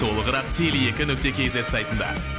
толығырақ теле екі нүкте кз сайтында